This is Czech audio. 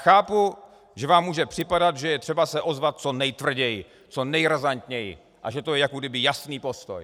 Chápu, že vám může připadat, že je třeba se ozvat co nejtvrději, co nejrazantněji a že to je jakoby jasný postoj.